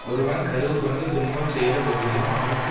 ஒருவன் கறுவுகொண்டு துன்பம் செய்த போதிலும் அவனுக்கு